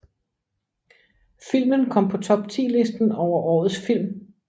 Filmen kom på top 10 listen over årets film